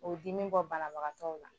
O dimi bɔ banabagatɔw la